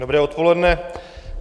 Dobré odpoledne.